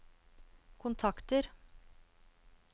kontakter